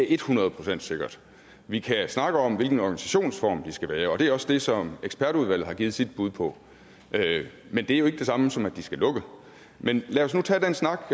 er et hundrede procent sikkert vi kan snakke om hvilken organisationsform de skal have og det er også det som ekspertudvalget har givet sit bud på men det er jo ikke det samme som at de skal lukke men lad os nu tage den snak